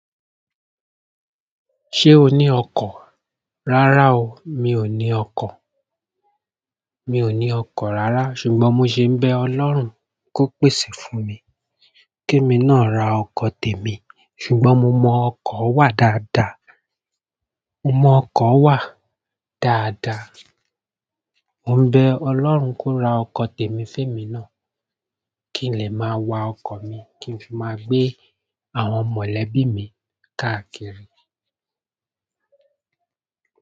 Ṣé o ní ọkọ̀? Rárá o, mi ò ní ọkọ̀. Mi ò ní ọkọ̀ rárá ṣùgbọ́n mo ṣe ń bẹ Ọlọ́run kó pèsè fún mi. Ke mi ná ra ọkọ̀ tèmi ṣùgbọ́n mo mọ ọkọ̀ wà dáadáa. Mo mo ọkọ̀ wa dáadáa, mo bẹ̀ ọlọ́run ko ra ọkọ̀ tèmi fún èmi náà kí n lè má wa ọkọ̀ mi kí nfi má gbé àwọn mọ̀lẹ́bí mi káàkiri.